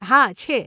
હા, છે.